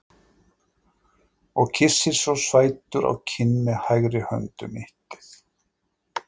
Og kyssir svo sætur á kinn með hægri hönd um mittið.